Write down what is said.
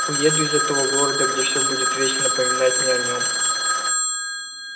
уеду из этого города где все будет вечно напоминать мне о нем